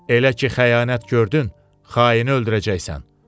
Elə ki, xəyanət gördün, xaini öldürəcəksən.